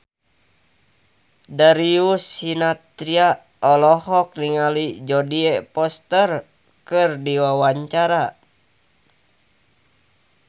Darius Sinathrya olohok ningali Jodie Foster keur diwawancara